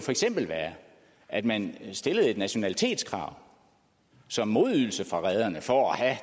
at man stillede et nationalitetskrav som modydelse fra rederne for